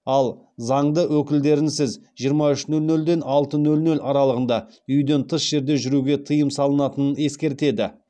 ал заңды өкілдерінсіз жиырма үш нөл нөлден алты нөл нөл аралығында үйден тыс жерде жүруге тыйым салынатынын ескертеді